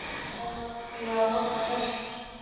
Þá er maður nefnilega að horfa í vestur.